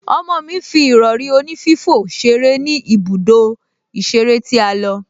Ọmọ mi fi ìrọ̀rí onífífò ṣeré ní ibùdó ìṣeré tí a lọ